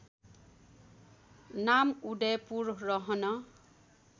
नाम उदयपुर रहन